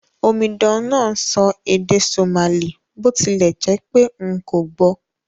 Omidan náà n sọ èdè Somali bó tilẹ̀ jẹ́pé n kò gbò